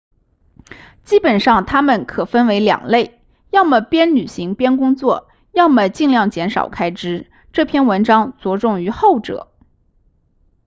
基本上它们可分为两类要么边旅行边工作要么尽量减少开支这篇文章着重于后者